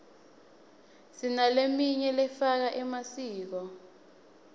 sinaleminy lefaka emasiko